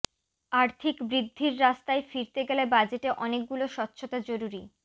আর্থিক বৃদ্ধির রাস্তায় ফিরতে গেলে বাজেটে অনেকগুলো স্বচ্ছতা জরুরি